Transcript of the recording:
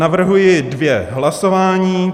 Navrhuji dvě hlasování.